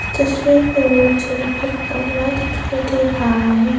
तस्वीर पे मुझे एक कमरा दिखाई दे रहा है।